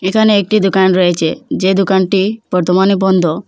ইকানে একটি দুকান রয়েছে যে দোকানটি বর্তমানে বন্ধ।